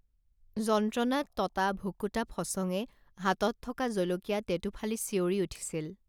যন্ত্ৰণাত ততা ভুকুতা ফচঙে হাতত থকা জলকীয়া টেঁটুফালি চিঞৰি উঠিছিল